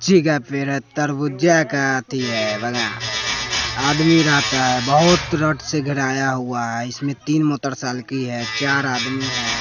पेर है तरबुज्जा का अथी है बगान आदमी रहता है बहुत रड से घेराया हुआ है इसमें तीन मोतरसालकि है चार आदमी है।